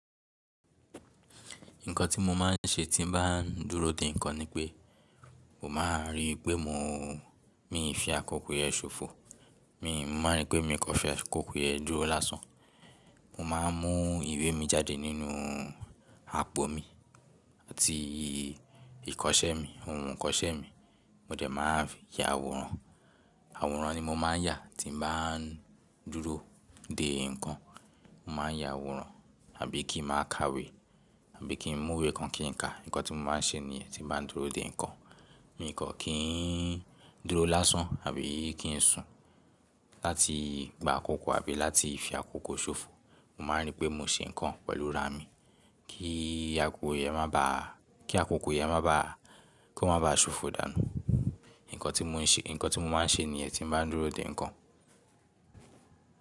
Nǹkan tí mo máa ń ṣe tí bá ń dúró dè nǹkan ni pé, mo máa rí pé mi fi àkókò yẹn ṣòfò. Mi máa pé mi kọ́ṣẹ́ àkókò yẹn dúró lásán. Mo máa ń mú ìwé mi jáde nínu àpò mi àti ìkọ́sẹ́ mi, ohun ìkọ́sẹ́ mi. Mo dẹ̀ máa ya àwòrán. Àwòrán ni mo máa ń ya tí mo bá ń dúró dè nǹkan. Mo máa ń ya àwòrán àbí kí máa ka ìwé, àbí kí ń mú ìwé kan kí ń ka. Nǹkan tí mo máa ń ṣe ní ẹ́ tí bá ń dúró dè nǹkan. Mi kọ́ kí ń dúró lásán àbí kí ń sùn láti gba àkókò àbí láti fi àkókò ṣòfò. Mo máa rí pé mo ṣe nǹkan pẹ̀lú ra mi kí àkókò yi máa bá ko máa bá sófò dànu nnkan tí mo se nnkan tí mo máa se nìyen tí gba dúró de nnkan.